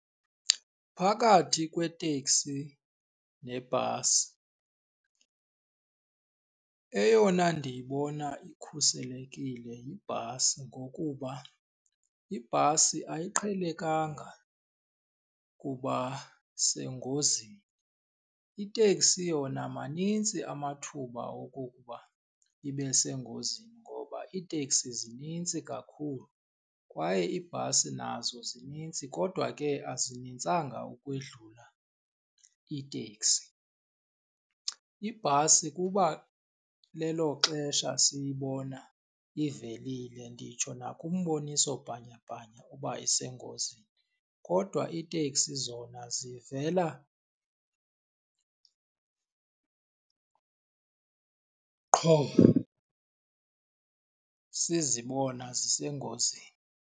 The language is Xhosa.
Phakathi kweteksi nebhasi eyona ndiyibona ikhuselekile yibhasi ngokuba ibhasi ayiqhelekanga kuba sengozini. Iteksi yona manintsi amathuba okokuba ibe sengozini ngoba iiteksi zinintsi kakhulu kwaye iibhasi nazo zinintsi kodwa ke azinintsanga ukwedlula iitekisi. Ibhasi kuba lelo xesha siyibona ivelile nditsho nakumboniso bhanyabhanya uba isengozini, kodwa iiteksi zona zivela qho sizibona zisengozini.